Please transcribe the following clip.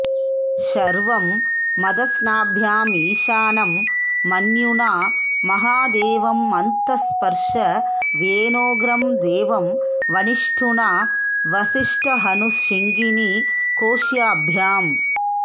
शर्वं मतस्नाभ्यामीशानं मन्युना महादेवमन्तःपर्शव्येनोग्रं देवं वनिष्ठुना वसिष्ठहनुः शिङ्गीनि कोश्याभ्याम्